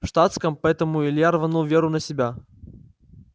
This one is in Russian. в штатском поэтому илья рванул веру на себя